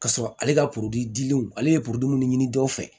K'a sɔrɔ ale ka dilenw ale ye minnu ɲini dɔw fɛ